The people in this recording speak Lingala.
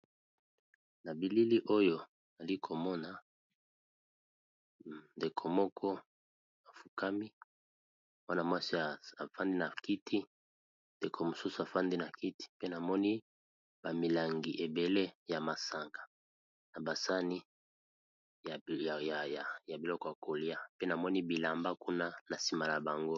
Na bilili oyo nali komona ndeko moko afukami wana mwasi afandi, na kiti ndeko mosusu afandi na kiti pe namoni ba milangi ebele ya masanga, na basani ya biloko ya koliya, pe namoni bilamba kuna na nsima na bango.